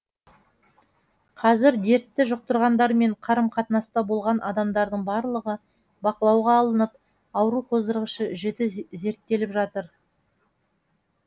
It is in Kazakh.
қазір дертті жұқтырғандармен қарым қатынаста болған адамдардың барлығы бақылауға алынып ауру қоздырғышы жіті зерттеліп жатыр